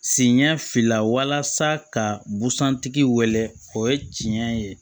Sen ɲɛ fila ka busan tigi wele o ye tiɲɛ ye